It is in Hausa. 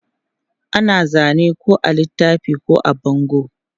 Ana zane ko a littafi ko a bango.